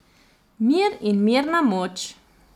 Mir in mirna moč.